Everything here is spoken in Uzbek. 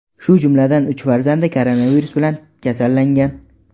shu jumladan uch farzandi koronavirus bilan kasallangan.